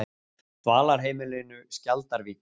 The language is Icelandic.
Dvalarheimilinu Skjaldarvík